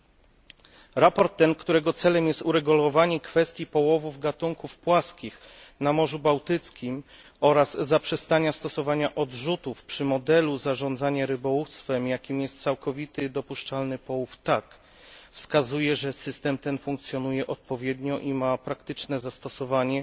Sprawozdanie to, którego celem jest uregulowanie kwestii połowów gatunków płaskich na Morzu Bałtyckim oraz zaprzestania stosowania odrzutów przy modelu zarządzania rybołówstwem, jakim jest całkowity dopuszczalny połów wskazuje, że system ten funkcjonuje odpowiednio i ma praktyczne zastosowanie